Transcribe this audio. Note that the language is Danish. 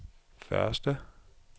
første